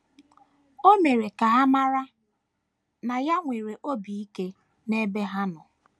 O mere ka ha mara na ya nwere obi ike n’ebe ha nọ.